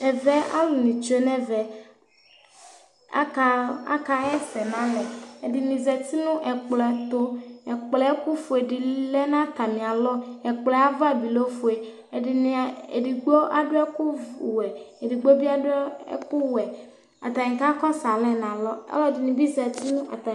ɛvɛ alũni tsue nevɛ aka aka yɛsɛ nalɛ ɛdini zati nũ n'ɛkplɔ etũ ɛkplo ɛkũ fũé di lɛ nata mialɔ ɛkplo ava bi lɛ ofue edini edigbo aduekũf wɛ edigbo bi adũ kũ ɛkũ wɛ atani kakɔsụ alɛ nalɔ ɔlɔ dini bi zati nu ata'n